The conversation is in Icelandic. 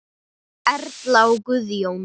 Erla og Guðjón.